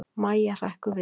Mæja hrekkur við.